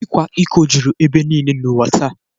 Ịkwa iko juru ebe niile n’ụwa taa